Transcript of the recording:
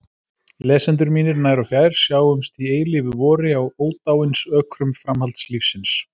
Lesendur mínir nær og fjær, sjáumst í eilífu vori á ódáinsökrum framhaldslífsins!